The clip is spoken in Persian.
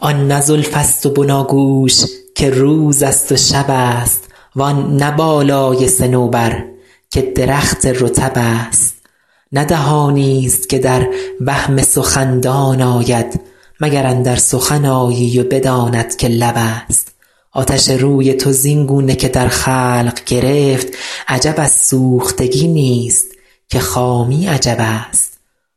آن نه زلف است و بناگوش که روز است و شب است وآن نه بالای صنوبر که درخت رطب است نه دهانی است که در وهم سخندان آید مگر اندر سخن آیی و بداند که لب است آتش روی تو زین گونه که در خلق گرفت عجب از سوختگی نیست که خامی عجب است